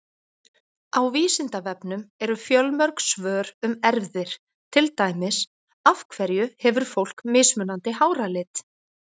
Á Vísindavefnum eru fjölmörg svör um erfðir, til dæmis: Af hverju hefur fólk mismunandi háralit?